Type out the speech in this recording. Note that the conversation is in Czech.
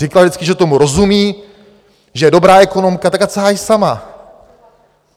Říkala vždycky, že tomu rozumí, že je dobrá ekonomka, tak ať se hájí sama.